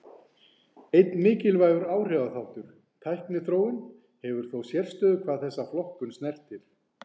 Einn mikilvægur áhrifaþáttur, tækniþróun, hefur þó sérstöðu hvað þessa flokkun snertir.